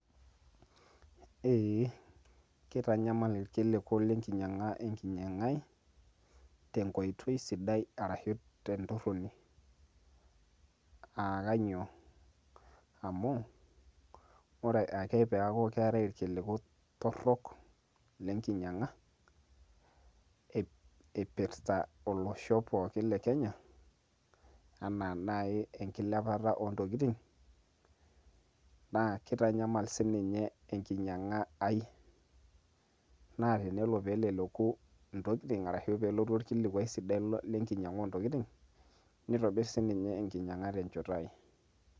Eee kitanyamal irkiliku lenkinyiang`a enkinyiang`a ai tenkoitoi sidai arashu tentorroni aa kanyio? amu ore ake peeku keetay irkiliku torrok lenkiny`ang`a eipirta olosho pooki le kenya enaa naaji enkilepata oontokitin naa kitanyamal siininye enkinyiang`a ai naa tenelo pee eleleku ntokitin arashu pee elotu orkilikwai sidai lenkinyiang`a oontokitin nitobirr siininye enkinyiang`a tenchoto ai.